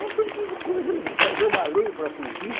Não tem que coisa fazer uma lei para proibir.